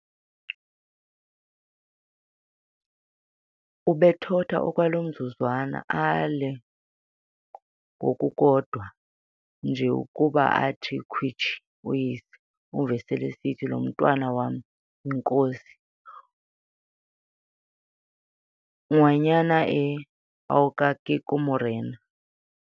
Ubethotha okwaloo mzuzwana, aale ngokukodwa nje ukuba athi khwitshi uyise, umve sel'esithi, "Lo mntwana wam yinkosi - Nguana eena oa ka ke morena."